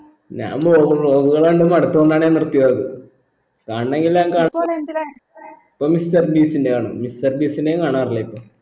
ഞാൻ vlog ഉം vlog കൾ കണ്ട് മടുതോണ്ടാന്ന് ഞാൻ നിർത്തിയത് കാണാനെങ്കിൽ അനക് ഇപ്പോ mister ബീസ്റ്റിന്റെ കാണുന്നെ mister ബീസ്റ്റിന്റേം കാണാറില്ല ഇപ്പൊ